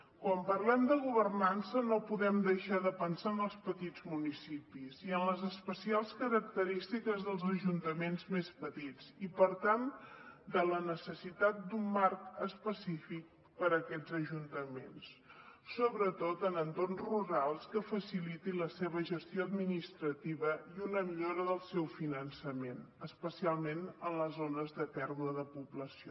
quan parlem de governança no podem deixar de pensar en els petits municipis i en les especials característiques dels ajuntaments més petits i per tant en la necessitat d’un marc específic per aquests ajuntaments sobretot en entorns rurals que faciliti la seva gestió administrativa i una millora del seu finançament especialment en les zones de pèrdua de població